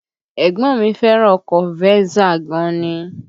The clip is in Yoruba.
Ẹ̀gbọ́n mi fẹ́ràn ọkọ Venza gan ni